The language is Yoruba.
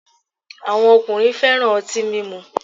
Awọn ọkunrin fẹ́ràn ọti mímu